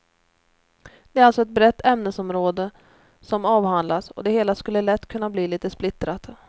Det är alltså ett brett ämnesområde som avhandlas och det hela skulle lätt kunna bli lite splittrat.